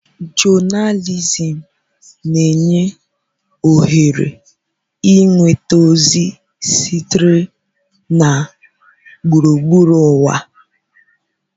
Jonalizim na-enye ohere ịnweta ozi sitere na gburugburu ụwa.